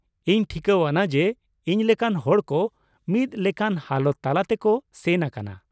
ᱤᱧ ᱴᱷᱤᱠᱟᱹᱣᱟᱱᱟ ᱡᱮ ᱤᱧ ᱞᱮᱠᱟᱱ ᱦᱚᱲ ᱠᱚ ᱢᱤᱫ ᱞᱮᱠᱟᱱ ᱦᱟᱞᱚᱛ ᱛᱟᱞᱟ ᱛᱮ ᱠᱚ ᱥᱮᱱ ᱟᱠᱟᱱᱟ ᱾